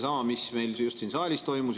Mis meil just siin saalis toimus?